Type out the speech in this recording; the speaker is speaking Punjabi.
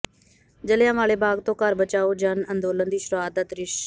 ਜਲ੍ਹਿਆਂ ਵਾਲੇ ਬਾਗ਼ ਤੋਂ ਘਰ ਬਚਾਓ ਜਨ ਅੰਦੋਲਨ ਦੀ ਸ਼ੁਰੂਆਤ ਦਾ ਦ੍ਰਿਸ਼